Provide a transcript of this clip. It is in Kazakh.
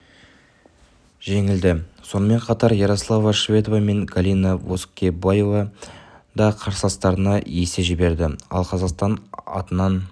жеңілді сонымен қатар ярослава шведова мен галина воскобоева да қарсыластарына есе жіберді ал қазақстан атынан